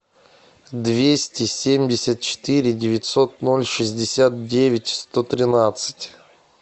двести семьдесят четыре девятьсот ноль шестьдесят девять сто тринадцать